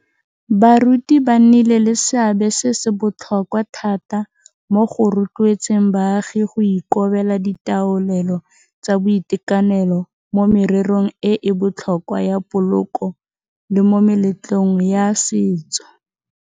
Baruti ba nnile le seabe se se botlhokwa thata mo go rotloetseng baagi go ikobela ditaolelo tsa boitekanelo mo mererong e e botlhokwa ya poloko le mo meletlong ya setso.